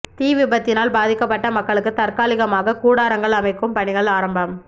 தீ விபத்தினால் பாதிக்கபட்ட மக்களுக்கு தற்காலிகமாக கூடாரங்கள் அமைக்கும் பணிகள் ஆரம்பம்